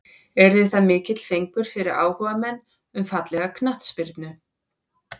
Yrði það mikill fengur fyrir áhugamenn um fallega knattspyrnu.